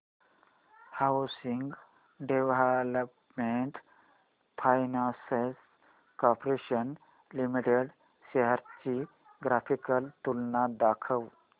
housing development finance corporation limited shares ची graphical तुलना दाखव